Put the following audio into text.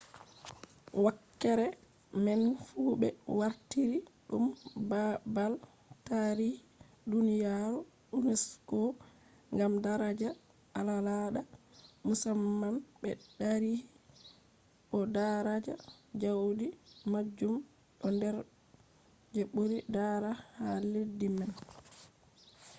wakkere man fu ɓe wartiri ɗum babal tarihi duniyaaru unesco gam daraja al'aada musamman be tarihi bo daraja jaudi maajum ɗo nder je ɓuri daraja ha leddi man